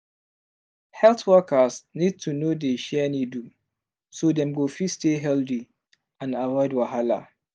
health workers need to no dey share needle so dem go fit stay healthy and avoid wahala